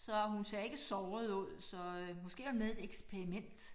Så hun ser ikke såret ud så øh måske er hun med i et eksperiment